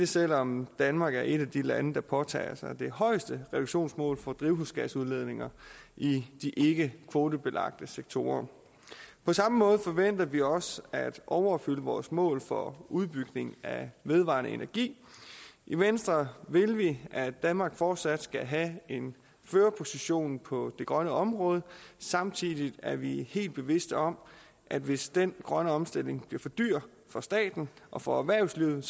selv om danmark er et af de lande som påtager sig det højeste reduktionsmål for drivhusgasudledning i de ikkekvotebelagte sektorer på samme måde forventer vi også at overopfylde vores mål for udbygning af vedvarende energi i venstre vil vi at danmark fortsat skal have en førerposition på det grønne område samtidig er vi helt bevidste om at hvis den grønne omstilling bliver for dyr for staten og for erhvervslivet